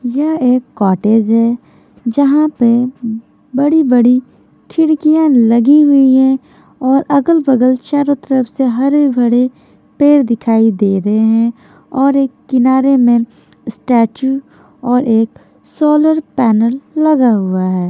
यह एक कॉटेज है जहाँं पे बड़ी-बड़ी खिड़कियाँं लगी हुई है और अगल-बगल चारों तरफ से हरे भरे पेड़ दिखाई दे रहे हैं और एक किनारे में स्टैचू और एक सोलर पैनल लगा हुआ है।